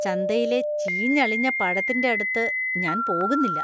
ചന്തയിലെ ചീഞ്ഞളിഞ്ഞ പഴത്തിന്‍റെ അടുത്ത് ഞാൻ പോകുന്നില്ല.